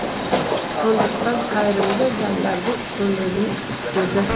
сондықтан қайырымды жандардың көмегін күтеді